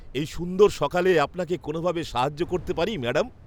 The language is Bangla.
এই সুন্দর সকালে আপনাকে কোনওভাবে সাহায্য করতে পারি, ম্যাডাম?